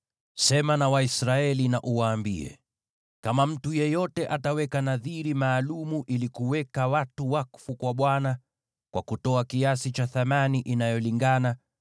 “Sema na Waisraeli uwaambie: ‘Kama mtu yeyote ataweka nadhiri maalum ili kuweka watu wakfu kwa Bwana , kwa kutoa kiasi cha thamani inayolingana,